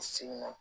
Segin na